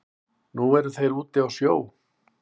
Nei þeir eru úti á sjó